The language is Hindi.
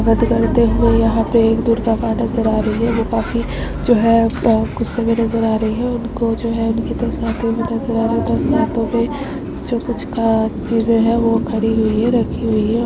नृत्य करते हुए यहाँ पे एक दुर्गा माँ नजर आ रही है वो काफी जो है गुस्से में नजर आ रही है उनको जो है उनके दस हाथ नजर आ रहे दस हाथो पे जो कुछ खास चीज़ें हैं बो खरी हुई है रखी हुई है।